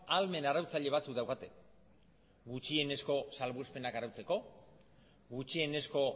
ahalmen arautzaile batzuk daukate gutxienezko salbuespenak arautzeko gutxienezko